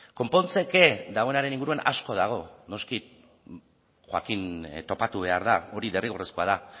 konpontzeke dagoenaren inguruan asko dago noski joaquín topatu behar da hori derrigorrezkoa da